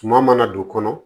Tuma mana don o kɔnɔ